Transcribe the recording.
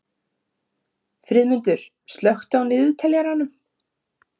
Friðmundur, slökktu á niðurteljaranum.